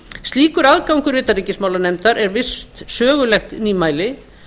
slíkur aðgangur utanríkismálanefndar er visst sögulegt nýmæli